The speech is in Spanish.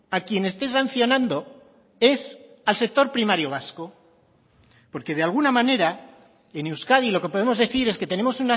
a quien esté sancionando es al sector primario vasco porque de alguna manera en euskadi lo que podemos decir es que tenemos